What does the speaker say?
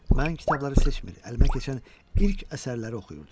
Mən kitabları seçmir, əlimə keçən ilk əsərləri oxuyurdum.